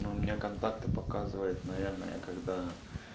ну у меня контакты показывает наверное когда